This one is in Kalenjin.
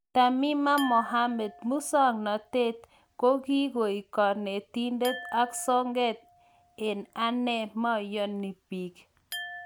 Tamima Mohamed:Musoknoteet ko kigoek kanetindet ak sokeet en anee meyoni biik.